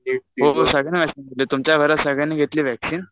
तुमच्या घरात सगळ्यांनी घेतली वॅक्सीन?